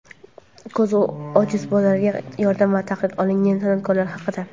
ko‘zi ojiz bolalarga yordam va taqiq olingan san’atkorlar haqida.